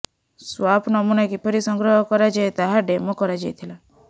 swap ନମୁନା କିପରି ସଂଗ୍ରହ କରାଯାଏ ତାହା ଡେମୋ କରାଯାଇଥିଲା